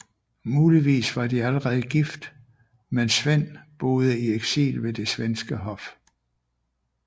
Muligvis var de allerede gift mens Svend boede i eksil ved det svenske hof